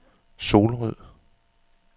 Solrød